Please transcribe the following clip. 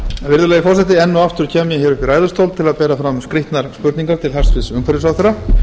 virðulegi forseti enn og aftur kem ég upp í ræðustól til að bera fram skrýtnar spurningar til hæstvirts umhverfisráðherra